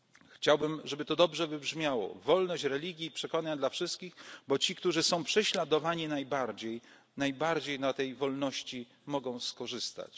wszystkich. Chciałbym, żeby to dobrze zabrzmiało wolność religii i przekonań dla wszystkich, bo ci, którzy są prześladowani najbardziej, najbardziej na tej wolności mogą